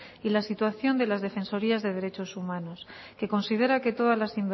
y la situación de las defensorías de derechos humanos que considera que todas las